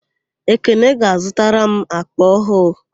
Ekene ga-azụtara m àkpà ọhụụ.